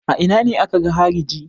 A ina ne aka ga hariji?